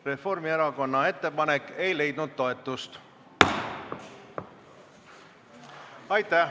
Reformierakonna ettepanek ei leidnud toetust.